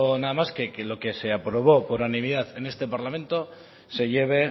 nada más que lo que se aprobó por unanimidad en este parlamento se lleve